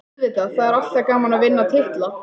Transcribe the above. Auðvitað, það er alltaf gaman að vinna titla.